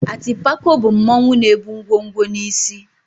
Atịpako bụ mmanwụ na-ebu ngwo ngwo n'isí.